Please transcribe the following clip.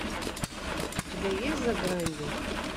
у тебя есть за гранью